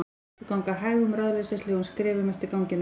Þau ganga hægum, ráðleysislegum skrefum eftir ganginum.